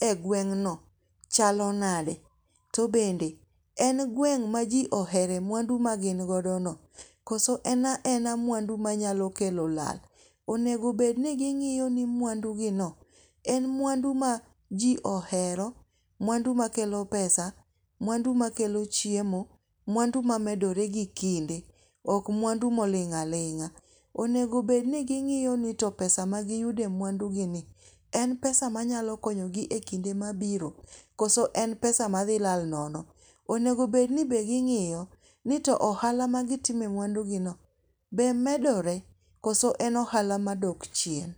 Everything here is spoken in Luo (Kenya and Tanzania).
e gweng' no chalo nade. To bende en gweng' ma ji ohere mwandu ma gin godo no. Koso en ena mwandu manyalo kelo lal. Onego bed ni ging'iyo ni mwandu gi no en mwandu ma ji ohero, mwandu makelo pesa. Mwandu makelo chiemo. Mwandu mamedore gi kinde. Ok mwandu moling' aling'a. Onego bed ni ging'iyo ni to pesa magiyudo e mwandu gi ni en pesa manyalo konyo gi e kinde mabiro. Koso en pesa ma dhi lal nono. Onego bed ni be gingiyo ni to ohala magitime mwandu gi no be medore koso en ohala madok chien.